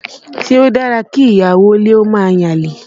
Ṣé o dára kí ìyàwó ilé ó máa yan àlè?